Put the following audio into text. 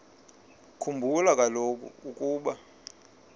khumbula kaloku ukuba